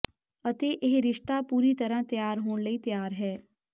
ਅਤੇ ਇਹ ਰਿਸ਼ਤਾ ਪੂਰੀ ਤਰ੍ਹਾਂ ਤਿਆਰ ਹੋਣ ਲਈ ਤਿਆਰ ਹੈ